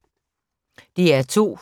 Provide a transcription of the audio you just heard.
DR2